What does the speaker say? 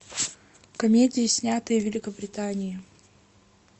комедии снятые в великобритании